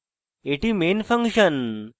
এটি main function